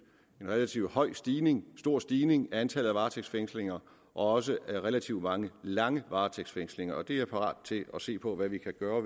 relativt høj stigning en stor stigning i antallet af varetægtsfængslinger og også relativt mange lange varetægtsfængslinger det er jeg parat til at se på hvad vi kan gøre